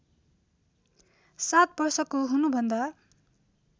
सात वर्षको हुनुभन्दा